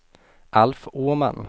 Alf Åman